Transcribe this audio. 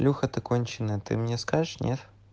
леха ты конченная ты мне скажешь нет